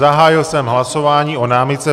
Zahájil jsem hlasování o námitce.